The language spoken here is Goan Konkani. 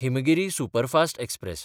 Himgiri superfast express